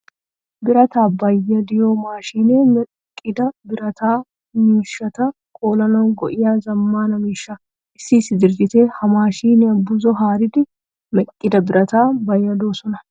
Birataa bayyadiyo maashinee meqqida birata miishshata koolanawu go'iya zammaana miishsha. Issi issi dirijiteti ha maashiniyaa buzo haaridi meqqida birataa bayyadisoosona.